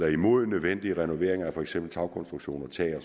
imod nødvendige renoveneringer af for eksempel tagkonstruktioner tag og